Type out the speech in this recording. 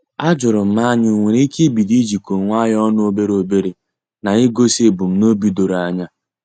Ajurum ma anyị enwere ike ibido ijiko onwe anyị ọnụ obere obere ya na igosi ebumnobi doro anya.